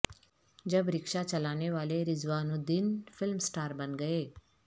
جب رکشہ چلانے والے رضوان الدین فلم سٹار بن گئے